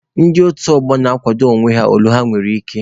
Ndị otu ọgbọ na-akwado onwe ha ole ha nwere ike.